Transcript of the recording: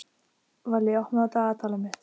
Valli, opnaðu dagatalið mitt.